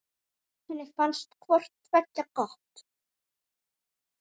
Henni fannst hvort tveggja gott.